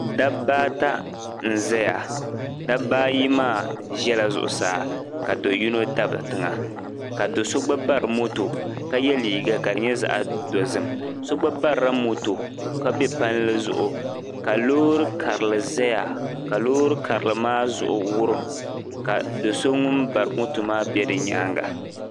Dabba ata n zaya dabba ayi maa zala zuɣusaa ka do yino dabi tiŋa ka do so gba bari moto ka ye liiga ka di nyɛ zaɣ dɔzim so gba barila moto ka be palli zuɣu ka loori karili zaya ka loori karili maa zuɣu wurim ka do so ŋun bari moto maa be di nyaanga